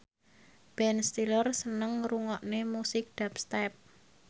Ben Stiller seneng ngrungokne musik dubstep